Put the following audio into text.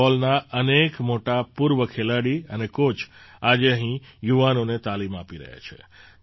ફૂટબૉલના અનેક મોટા પૂર્વ ખેલાડી અને કૉચ આજે અહીં યુવાનોને તાલીમ આપી રહ્યા છે